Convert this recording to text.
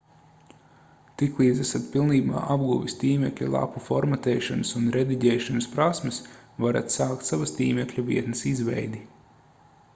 tiklīdz esat pilnībā apguvis tīmekļa lapu formatēšanas un rediģēšanas prasmes varat sākt savas tīmekļa vietnes izveidi